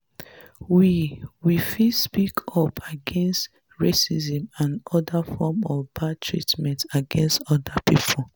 we we fit speak up against racism and oda forms of bad treatment against oda pipo